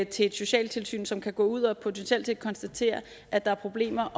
til et socialtilsyn som kan gå ud og potentielt set konstatere at der er problemer